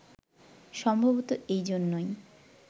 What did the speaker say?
সম্ভবতঃ এই জন্যই